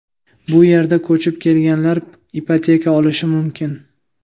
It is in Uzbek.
Bu yerga ko‘chib kelganlar ipoteka olishi mumkin.